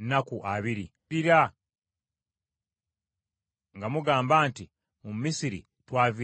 ne mumukaabirira nga mugamba nti, “Mu Misiri twaviirayo ki?” ’”